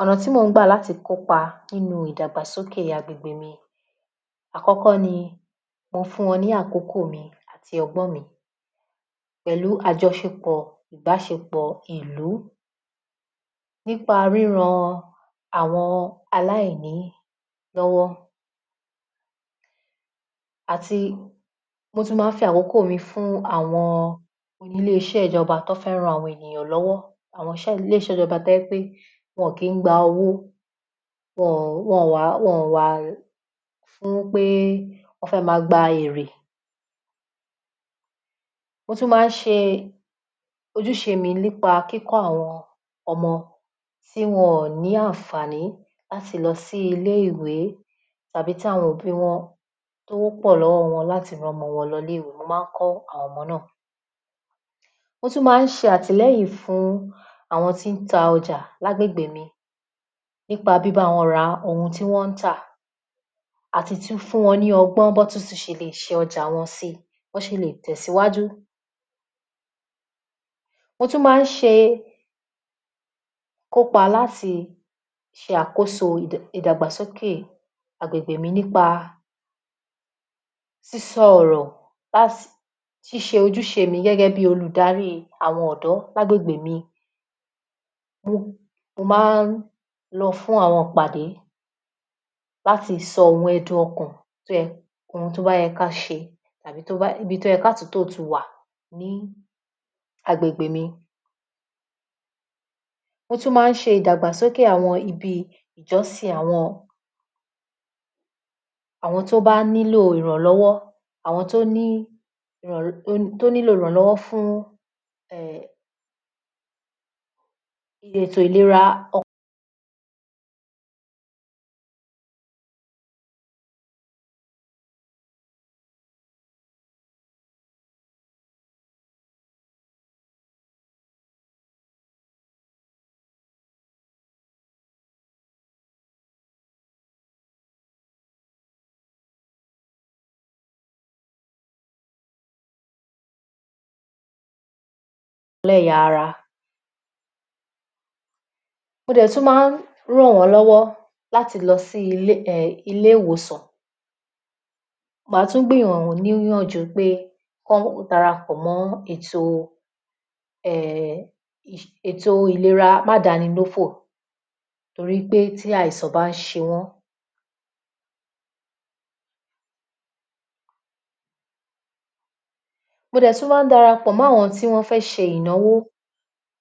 ϙ̀nà tí mo ń gbà láti kópa nínú ìgdàgbà sókè agbègbè mi, àkϙ́kϙ́ ni mo fún wϙn ní àkókò mi àti ϙgbϙ́n mi pẹ̀lú àjϙșepϙ̀ ìbáșepϙ̀ ìlú lú, nípa ríran àwϙn aláììní lϙ́wϙ́ àti mo tún máa fi àkϙ́kϙ̀ mi fún àwϙn ilé ișẹ́ ìjϙba tán fi ń ran àwϙn ènìyàn lϙ́wϙ́, àwϙn ilé ișẹ́ ìjϙba tó jẹ́pé wϙ́n kìí gba owó wϙn ǹ wà wϙn ǹ wà fún pé wϙ́n fẹ́ máa gba èrè, mo tún máa ń șe ojúșe mi nípa kíkϙ́ àwϙn ϙmϙ tí wϙ́n ní àǹfààní láti lϙ sí ilé ìwé tàbí tí àwϙn òbí wϙn tí owó pϙ̀ lϙ́wϙ́ϙ wϙn láti rán ϙmϙ wϙn lϙ ilé ìwé mo máa ń kϙ́ àwϙn ϙmϙ náà. Mo tún ma ń șe àtilẹ́yìn fún àwϙn tí ń ta ϙjà lá gbẹ̀gbẹ̀ mi, nípa bíbá wϙn ra ohun tí wϙ́n ń tà àti tún fún wϙn ní ϙgbϙ́n bí wϙ́n tún șẹ lè șe ϙjàa wϙn síi bí wϙ́n șe le tẹ̀síwájú .mo tún máa ń șe kó pa láti șe àkóso ìdàgbà sókè agbègbè mi nípa sísϙ ϙ̀rϙ̀ síșe ojú șe è mi gẹ́gẹ́ bíi olùdarí àwϙn ϙ̀dϙ́ ní agbègbè mi mo mo máa ń lϙ fún àwϙn ìpàdé láti sϙ ohun ẹ̀dùn ϙkàn, tó yẹ ohun tó bá yẹn ká șe tàbí ibití àtúntóò tún wà ní agbègbè mi mo tún máa ń șe ìdàgbàsókè àwϙn ibi ìjϙsìn àwϙn tó bá nílò ìrànlϙ́wϙ́ àwϙn tó ní lò ìrànlϙ́wϙ́ fún ètò ìlera lẹ́ ya ara. mo dẹ̀ tún máa ń ràn wϙ́n lϙ́wϙ́ láti lϙ sí ilé ilé ìwòsàn. Máa tún gbì wϙ́n ní ànjú pé kán darapϙ̀ mó ètò ]?] ètò ìlera má dánilófò to rí pé tí àìsàn bá ń șe mo dẹ̀ túñ ńrapϙ̀ mó àwϙn tí wϙ́n fé șe ìnáwó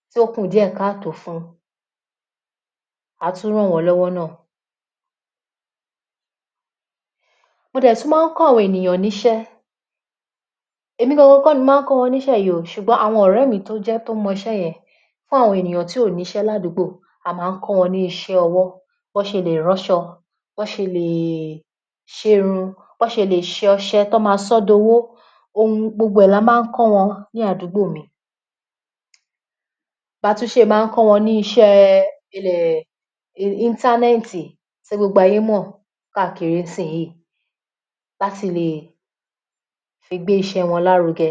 tí ó kù díè káà tòó fún à á tún ràn wϙ́n lϙ́wϙ́ náà. mo dẹ̀ tún máa ń kϙ́ àwϙn ènìyàn níșé, èmi gangan kϙ́ ni mo máá kϙ́ wϙn ní ișé yí oo sùgbón àwϙn ϙ̀rẹ́ẹ̀mi tó jẹ́ tó mϙ ișé yẹn fún àwϙn ènìyàn tí kò ní șé láádúbò a máa ń kϙ́ wϙn ní ișé ϙwϙ́ bí wϙ́n șe lè rán așϙ bí wϙ́n șẹlè șe irun bí wϙ́n șẹlè șe ϙșẹ tọ́m áa sϙϙ́ di owó ohun gbogbo rẹ̀ẹ̀ ni a má ń kϙ́ wϙn ní àgbúgbò mi. Ba tún șe máa ńkϙ́ wϙn ní ișé ilẹ̀ interneti tí gbogbo ayé mϙ̀ káàkiri níșiyìí láti le fi gbé ișé wϙn lárugẹ.